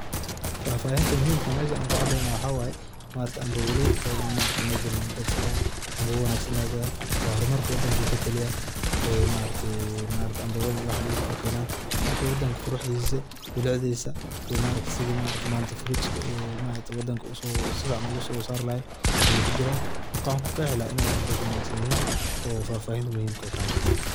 Fafahinta muhimka meshan an ku adeynayo waxa weye cambogaley ,maaragte oo dad fadiyan waxa camboga wanagsan ay gadan waa horumarka wadanka ay kataliyan ,marka maaragte cambogada iyo waxan ay u kenan wadanka quruxdisa iyo milicdisa ayey kataliyan ,fruitska maragte wadanka si fican oga so sarayan ayey kujiran, marka waxan kuqexi lahaa iney dad wanagsan yihin oo fafahin waka marka.